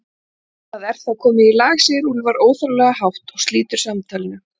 Það er þá komið í lag, segir Úlfar óþarflega hátt og slítur samtalinu.